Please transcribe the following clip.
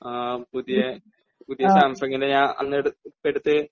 ആ പുതിയ, പുതിയ സാംസങ് ഞാനന്ന് എടുത്ത്